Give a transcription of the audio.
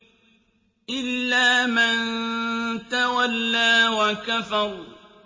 إِلَّا مَن تَوَلَّىٰ وَكَفَرَ